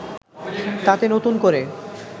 তাতে নতুন করে